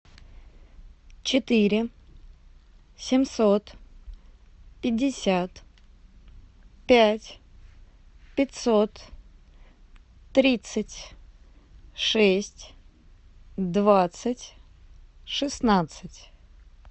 четыре семьсот пятьдесят пять пятьсот тридцать шесть двадцать шестнадцать